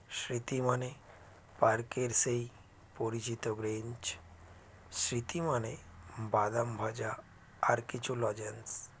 স্মৃতি মানে park -এর সেই পরিচিত bench স্মৃতি মানে বাদাম ভাজা আর কিছু লজেন্স